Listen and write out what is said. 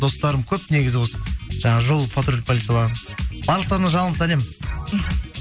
достарым көп негізі осы жаңағы жол патрульдік полицияларын барлықтарына жалынды сәлем мхм